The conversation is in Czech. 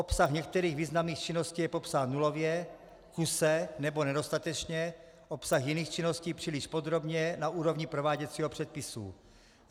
Obsah některých významných činností je popsán nulově, kuse nebo nedostatečně, obsah jiných činností příliš podrobně na úrovni prováděcího předpisu.